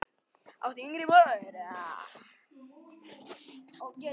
áttu yngri bróður?